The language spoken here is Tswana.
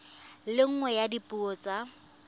le nngwe ya dipuo tsa